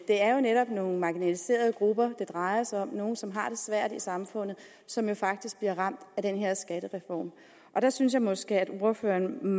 er jo netop nogle marginaliserede grupper det drejer sig om nogle som har det svært i samfundet som jo faktisk bliver ramt af den her skattereform og der synes jeg måske at ordføreren